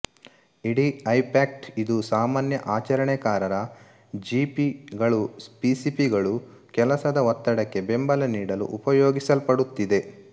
ಇಡಿಐಫ್ಯಾಕ್ಟ್ ಇದು ಸಾಮಾನ್ಯ ಆಚರಣೆಕಾರರ ಜಿಪಿ ಗಳುಪಿಸಿಪಿ ಗಳು ಕೆಲಸದ ಒತ್ತಡಕ್ಕೆ ಬೆಂಬಲ ನೀಡಲು ಉಪಯೋಗಿಸಲ್ಪಡುತ್ತಿದೆ